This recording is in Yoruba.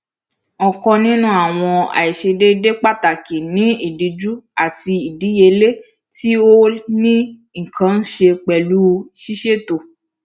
ọkan ninu awọn aiṣedeede pataki ni idiju ati idiyele ti o ni nkan ṣe pẹlu siseto